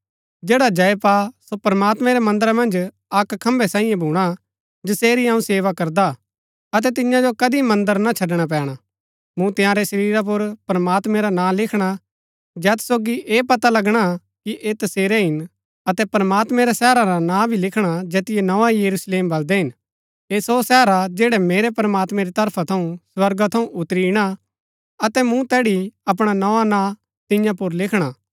जैडा जय पा सो प्रमात्मैं रै मन्दरा मन्ज अक्क खंभै सांईये भूणा जसेरी अऊँ सेवा करदा हा अतै तिन्या जो कदी मन्दर छड़णा ना पैणा मूँ तंयारै शरीरा पुर प्रमात्मैं रा नां लिखणा जैत सोगी ऐह पता लगणा कि ऐह तसेरै हिन अतै प्रमात्मैं रै शहर रा नां भी लिखणा जैतिओ नोआ यरुशलेम बलदै हिन ऐह सो शहर हा जैड़ा मेरै प्रमात्मैं री तरफा थऊँ स्वर्गा थऊँ उतरी इणा अतै मूँ तैड़ी अपणा नोआ नां तिन्या पुर लिखणा हा